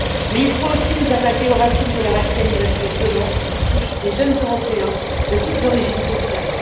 Mais il faut aussi nous attaquer aux racines de la radicalisation violente qui touche des jeunes européens de toutes origines sociales.